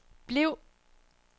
bliv